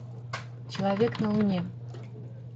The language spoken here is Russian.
человек на луне